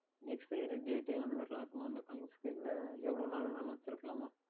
எந்த Expiry Date அந்த மாதிரி எல்லாம் இருக்கின்றதா அந்த Coins க்கு எல்லாம் எவ்வளவு நாள் வேண்டுமென்றாலும் வைத்து இருக்கலாமா